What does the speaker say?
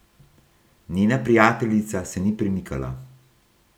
Njena prijateljica se ni premikala.